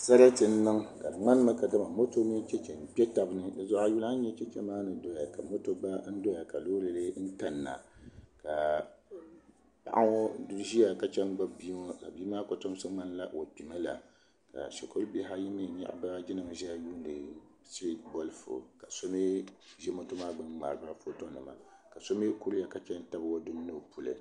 Sarati n niŋ ka di ŋmani mi kadama mot mini chɛchɛ n kpɛ taba ni si zuɣu ayi yuli ani yɛ chɛchɛ maa ni doya ka moto gba doya ka loori lɛɛ n kanna ka Paɣi ŋɔ ziya ka chɛn gbubi bii ŋɔ ka bii maa kotomsi mŋanila o kpɛ milaka shɛkuru bihi ayi mi ziya n lihiri shiriti bolifu ka so mi za moto maa gbuni mŋaariba foto ni ma ka so mi kuriya ka tabi o puli.